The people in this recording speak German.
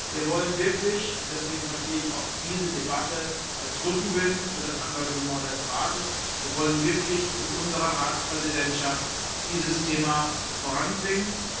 Wir wollen wirklich und deswegen verstehe ich auch diese Debatte als Rückenwind für das Engagement des Rates in unserer Ratspräsidentschaft dieses Thema voranbringen.